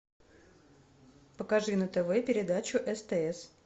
покажи на тв передачу стс